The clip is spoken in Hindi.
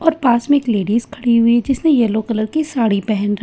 और पास में एक लेडिस खड़ी हुई है जिसने येलो कलर की साड़ी पहन र--